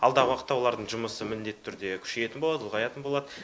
алдағы уақытта олардың жұмысы міндетті түрде күшейетін болады ұлғайатын болады